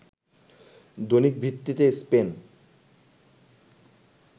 দৈনিক ভিত্তিতে স্পেন